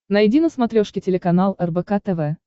найди на смотрешке телеканал рбк тв